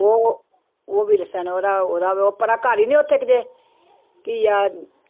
ਉਹ ਉਹ ਵਿਲਸਨ ਉਹਦਾ ਉਹਦਾ ਪਰਾਂ ਘਰ ਹੀ ਨੀ ਉੱਥੇ ਕਿਤੇ, ਕੀ ਆ